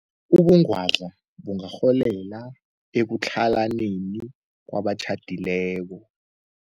Ubungwadla bungarholela ekutlhalaneni kwabatjhadileko.